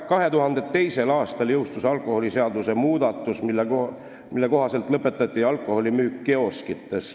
2002. aastal jõustus alkoholiseaduse muudatus, mille kohaselt lõpetati alkoholimüük kioskites.